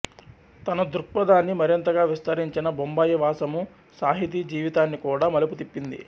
తన ధృక్పదాన్ని మరింతగా విస్తరించిన బొంబాయి వాసము సాహితీజీవితాన్ని కూడా మలుపుతిప్పింది